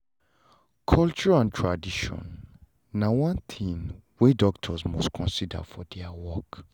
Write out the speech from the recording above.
culture and tradition na one thing wey doctors must consider for their work